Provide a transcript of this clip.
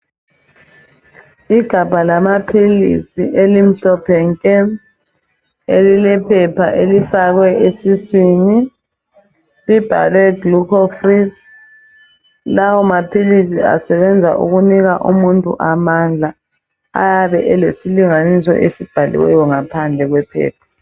Igabha lamaphilisi elimhlophe nke elilephepha elifakwe esiswini. Libhalwe gluco freeze lawo maphilisi asebenza ukunika umuntu amandla. Ayabe elesilinganiso esibhaliweyo ngaphandle kwephepha.